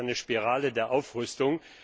Das ist eine Spirale der Aufrüstung.